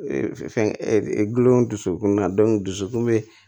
fɛn gulon kunna dusukun bɛ